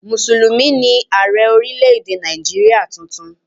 Mùsùlùmí ni Ààrẹ́ orílé-èdè Nàìjíríà tuntun